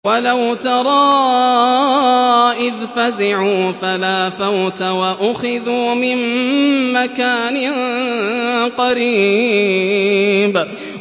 وَلَوْ تَرَىٰ إِذْ فَزِعُوا فَلَا فَوْتَ وَأُخِذُوا مِن مَّكَانٍ قَرِيبٍ